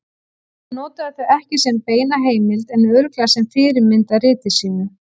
Hann notaði þau ekki sem beina heimild en örugglega sem fyrirmynd að riti sínu.